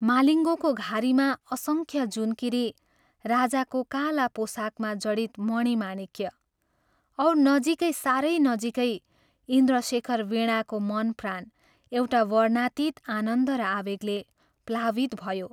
मालिङ्गोको घारीमा असंख्य जूनकीरी राजाको काला पोशाकमा जडित मणिमाणिक्य और नजीकै साह्रै नजीकै इन्द्रशेखर वीणाको मनप्राण एउटा वर्णनातीत आनन्द र आवेगले प्लावित भयो।